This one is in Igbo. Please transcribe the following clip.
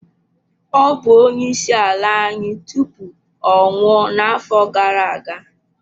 Ọ bụ onyeisiala anyị tupu ọ nwụọ n'afọ gara aga.